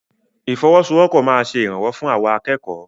Ìfọwọ́sowọ́pọ̀ máa ṣe ìrànwọ́ fún àwa akẹ́kọ̀ọ́.